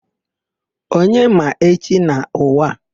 Onye ma echi n'ụwa a?